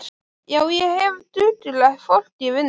Já, ég hef duglegt fólk í vinnu.